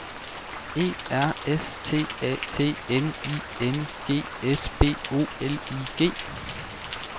E R S T A T N I N G S B O L I G